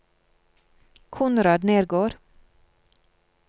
Konrad Nergård